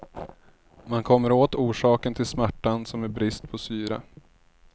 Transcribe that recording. Man kommer åt orsaken till smärtan som är brist på syre.